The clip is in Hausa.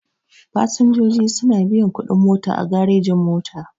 Fasinjoji suna biyan kuɗin mota a garejin-mota.